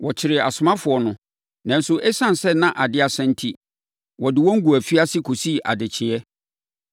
Wɔkyeree asomafoɔ no, nanso ɛsiane sɛ na adeɛ asa enti, wɔde wɔn guu afiase kɔsii adekyeeɛ.